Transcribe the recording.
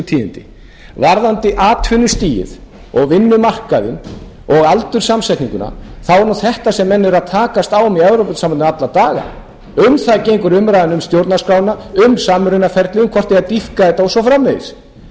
tíðindi varðandi atvinnustigið og vinnumarkaðinn og aldurssamsetninguna þá er það þetta sem menn eru að takast á í evrópusambandinu alla daga um það gengur umræðan um stjórnarskrána um samrunaferlið hvort eigi að dýpka þetta og svo framvegis og að halda